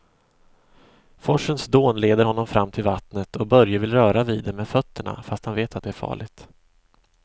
Forsens dån leder honom fram till vattnet och Börje vill röra vid det med fötterna, fast han vet att det är farligt.